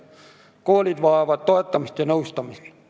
Koolid vajavad toetamist ja nõustamist.